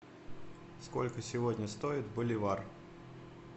сколько сегодня стоит боливар